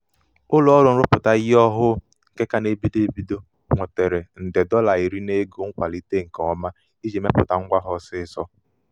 ụlọọrụ nrụpụta ihe ọhụụ nke ka na-ebido ebido nwetara nde dọla iri n'ego nkwalite nke ọma iji mepụta ngwa ha ọsịịsọ.